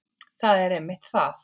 Það er einmitt það.